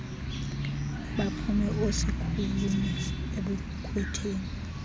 baphume oosikhulume ebukhwetheni